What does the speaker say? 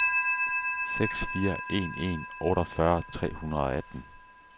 seks fire en en otteogfyrre tre hundrede og atten